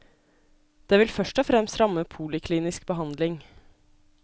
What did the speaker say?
Det vil først og fremst ramme poliklinisk behandling.